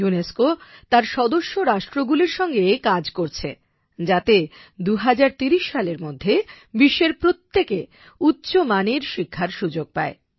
UNESCO তার সদস্য রাষ্ট্রগুলির সঙ্গে কাজ করছে যাতে 2030 সালের মধ্যে বিশ্বের প্রত্যেকে উচ্চমানের শিক্ষার সুযোগ পায়